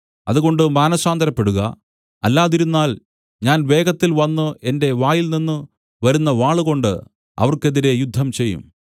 അതുകൊണ്ട് മാനസാന്തരപ്പെടുക അല്ലാതിരുന്നാൽ ഞാൻ വേഗത്തിൽ വന്നു എന്റെ വായിൽനിന്നു വരുന്ന വാളുകൊണ്ടു അവർക്കെതിരെ യുദ്ധം ചെയ്യും